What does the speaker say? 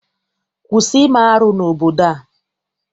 Kwụsị ime arụ n'obodo a!